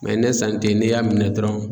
ne san te n'i y'a minɛ dɔrɔn.